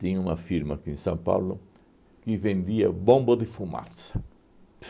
tinha uma firma aqui em São Paulo que vendia bomba de fumaça.